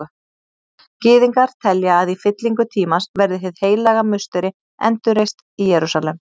Gyðingar telja að í fyllingu tímans verði Hið heilaga musteri endurreist í Jerúsalem.